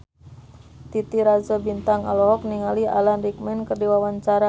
Titi Rajo Bintang olohok ningali Alan Rickman keur diwawancara